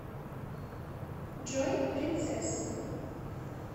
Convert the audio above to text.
джой принцесса